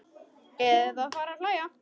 Eða fara að hlæja.